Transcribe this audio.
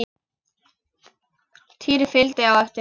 Týri fylgdi á eftir.